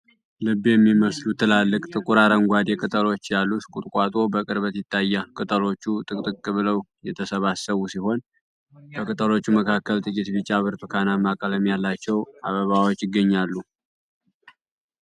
ልብ የሚመስሉ ትላልቅ፣ ጥቁር አረንጓዴ ቅጠሎች ያሉት ቁጥቋጦ በቅርበት ይታያል። ቅጠሎቹ ጥቅጥቅ ብለው የተሰባሰቡ ሲሆን፣ ከቅጠሎቹ መካከል ጥቂት ቢጫ-ብርቱካናማ ቀለም ያላቸው አበባዎች ይገኛሉ።